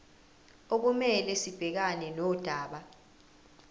okumele sibhekane nodaba